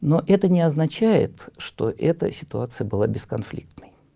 но это не означает что это ситуация была бесконфликтный